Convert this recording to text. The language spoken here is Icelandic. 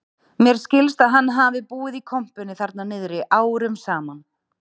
Mér skilst að hann hafi búið í kompunni þarna niðri árum saman